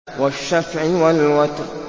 وَالشَّفْعِ وَالْوَتْرِ